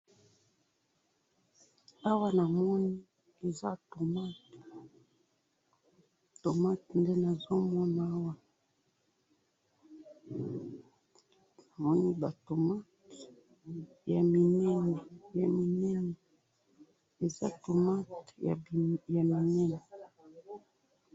awa namoni eza tomate, tomate nde nazomona awa namoni ba tomate ya minene ya minene eza tomate ya minene